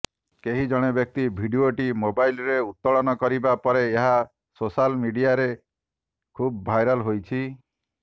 କେହି ଜଣେ ବ୍ୟକ୍ତି ଭିଡିଓଟି ମୋବାଇଲରେ ଉତ୍ତୋଳନ କରିବା ପରେ ଏହା ସୋଶାଲ ମିଡିଆରେ ଖୁବ୍ ଭାଇରାଲ ହୋଇଛି